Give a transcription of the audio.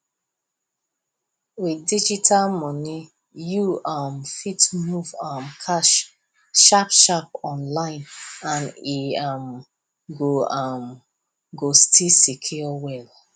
with digital money you um fit move um cash sharpsharp online and e um go um go still secure well